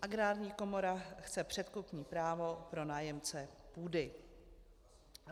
Agrární komora chce předkupní právo pro nájemce půdy".